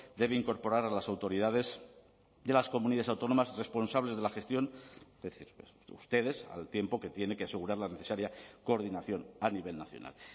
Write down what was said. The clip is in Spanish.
debe incorporar a las autoridades de las comunidades autónomas responsables de la gestión es decir ustedes al tiempo que tiene que asegurar la necesaria coordinación a nivel nacional